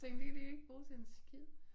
Tænkte det kan de ikke bruge til en skid